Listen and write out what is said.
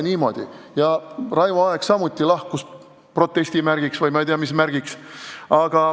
Raivo Aeg lahkus samuti protesti märgiks või ma ei tea mis märgiks.